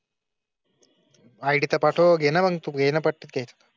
IT चा पाठवते नाम घेणे पडते.